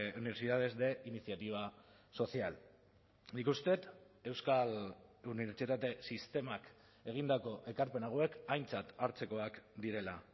universidades de iniciativa social nik uste dut euskal unibertsitate sistemak egindako ekarpen hauek aintzat hartzekoak direla